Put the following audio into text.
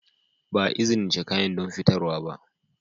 Ba a izinice kayan don fitarwa ba.